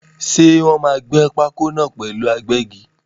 Ṣé Wòn máa gbẹ́ pákó náà pẹ̀lú agbẹ́gi?